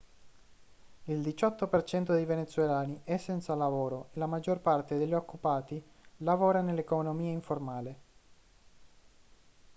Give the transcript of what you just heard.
il 18% dei venezuelani è senza lavoro e la maggior parte degli occupati lavora nell'economia informale